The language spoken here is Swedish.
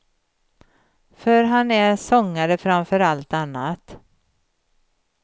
För han är sångare framför allt annat.